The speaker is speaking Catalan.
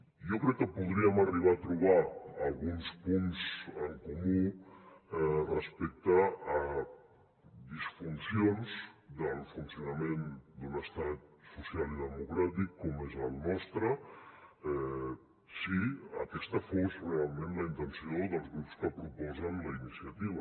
jo crec que podríem arribar a alguns punts en comú respecte a disfuncions del funcionament d’un estat social i democràtic com és el nostre si aquesta fos realment la intenció dels grups que proposen la iniciativa